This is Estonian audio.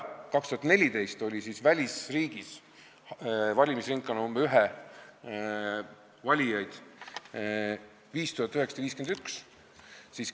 2014. aastal oli välisriigis valimisringkonna nr 1 valijaid 5951.